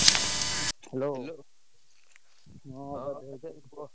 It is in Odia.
Hello ହଁ କୁହ।